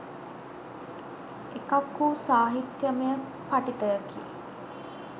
එකක් වූ සාහිත්‍යයමය පඨිතයකි